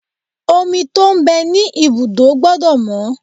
Omi tó ń bẹ ní ibùdó gbọ́dọ̀ mọ́.